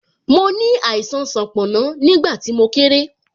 Mo ní àìsàn sanponna, nígbà tí mo kéré